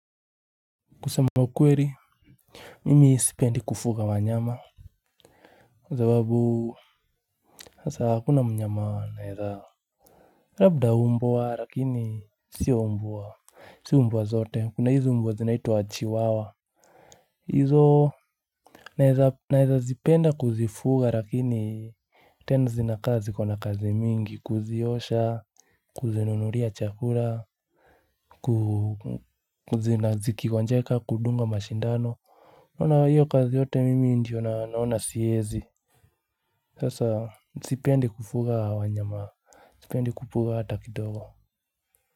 Kusema ukweli. Mimi sipendi kufuga wanyama. Sababu sasa hakuna mnyama naeza. Labda umbwa lakini sio umbwa. Sio umbwa zote kuna hizi umbwa zinaitwa chihuahua hizo naeza naezazipenda kuzifuga lakini tena zinakaa zikona kazi mingi kuziosha kuzinunulia chakula. Kuzi na zikigonjeka kudunga mashindano unaona hiyo kazi yote mimi ndiyo naona siwezi. Sasa sipendi kufuga wanyama. Sipendi kufuga hata kidogo.